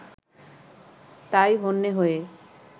তাই হন্যে হয়ে